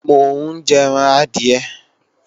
Mo ń jẹran adìẹ